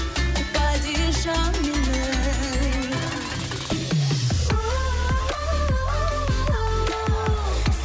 падишам менің ууу